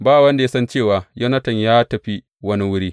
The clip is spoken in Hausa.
Ba wanda ya san cewa Yonatan ya tafi wani wuri.